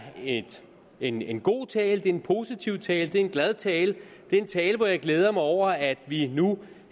en en god tale det er en positiv tale det er en glad tale det er en tale hvori jeg glæder mig over at vi nu